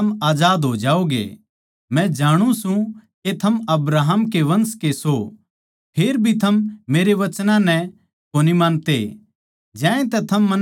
मै जाणु सूं के थम अब्राहम के वंश के सो फेर भी थम मेरे वचनां नै कोनी मानते ज्यांतै थम मन्नै मारणा चाहो सो